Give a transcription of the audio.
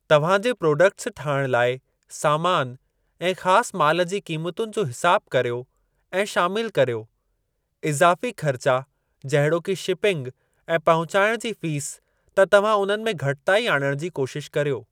तव्हां जे प्रोडक्ट्स ठाहिणु लाइ सामान ऐं ख़ासि माल जी क़ीमतुनि जो हिसाबु करियो ऐं शामिल करियो। इज़ाफ़ी ख़र्चा जहिड़ोकि शिपिंग ऐं पहुचाइण जी फ़ीस त तव्हां उन्हनि में घटिताई आणणु जी कोशिश करियो।